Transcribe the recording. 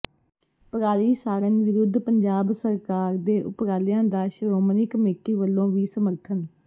ਪਰਾਲੀ ਸਾੜਣ ਵਿਰੁੱਧ ਪੰਜਾਬ ਸਰਕਾਰ ਦੇ ਉਪਰਾਲਿਆਂ ਦਾ ਸ਼੍ਰੋਮਣੀ ਕਮੇਟੀ ਵੱਲੋਂ ਵੀ ਸਮਰਥਨ